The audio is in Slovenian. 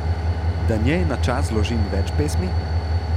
Da njej na čast zložim več pesmi?